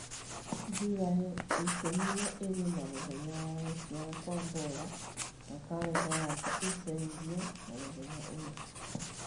July ikũmi na ĩĩrĩ nĩ mũthenya wa gũciarwo kwa bola na karenda yakwa ĩcenjio na mũthenya ũyũ